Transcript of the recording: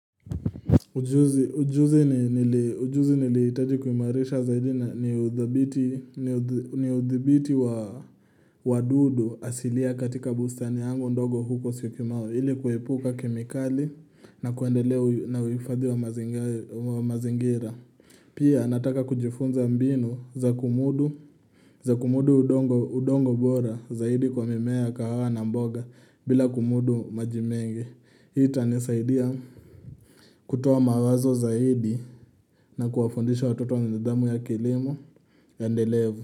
Ujuzi nilihitaji kuimarisha zaidi ni uthibiti wa wadudu asilia katika bustani yangu ndogo huko syokimau ili kuepuka kemikali na kuendelea na huifadhi wa mazingira Pia nataka kujifunza mbinu za kumudu udongo bora zaidi kwa mimea kahawa na mboga bila kumudu maji mengi hii itanisaidia kutoa mawazo zaidi na kufundisha watoto nidhamu ya kilimo endelevu.